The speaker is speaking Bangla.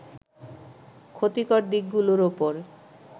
ক্ষতিকর দিকগুলোর ওপর